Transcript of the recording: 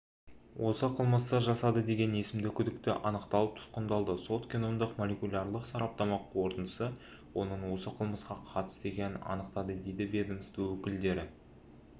осы қылмысты жасады деген есімді күдікті анықталып тұтқындалды сот-геномдық молекулярлық сараптама қорытындысы оның осы қылмысқа қатысты екенін анықтады дейді ведомство өкілдері